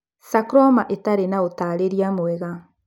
Sarcoma ĩtarĩ na ũtaarĩria mwega.